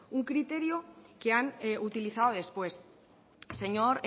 un criterio que han utilizado después señor